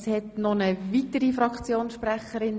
Es gibt noch einen weiteren Fraktionssprechende.